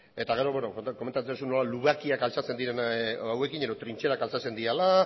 eta gero komentatzen duzu nola lubakiak altxatzen diren hauekin edo trintxerak altxatzen direla